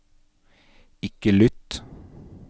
ikke lytt